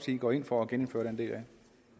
går ind for at genindføre den del